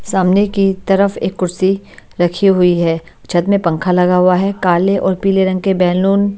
सामने की तरफ एक कुर्सी रखी हुई है छत में पंखा लगा हुआ है काले और पीले रंग के बैलून --